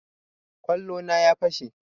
Kwallo na ya fashe